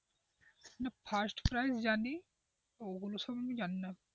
first price জানি ওগুলো সম্পর্কে আমি জানিনা,